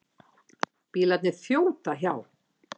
Bílarnir þjóta hjá.